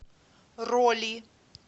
роли